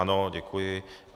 Ano, děkuji.